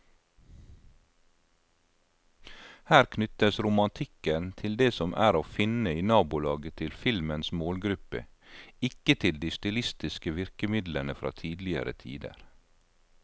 Her knyttes romantikken til det som er å finne i nabolaget til filmens målgruppe, ikke til de stilistiske virkemidlene fra tidligere tider.